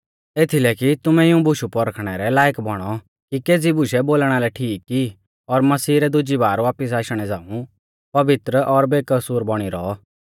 एथीलै कि तुमै इऊं बुशु पौरखणै रै लायक बौणौ कि केज़ी बुशै बोलणा लै ठीक ई और मसीह रै दुजी बारै वापिस आशणै झ़ाऊं पवित्र और बेकसूर बौणी रौऔ